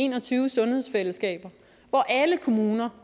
en og tyve sundhedsfællesskaber hvor alle kommuner